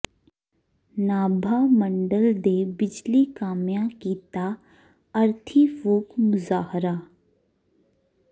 ਨਾਭਾ ਮੰਡਲ ਦੇ ਬਿਜਲੀ ਕਾਮਿਆਂ ਕੀਤਾ ਅਰਥੀ ਫੂਕ ਮੁਜ਼ਾਹਰਾ